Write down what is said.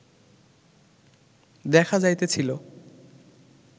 দেখা যাইতেছিল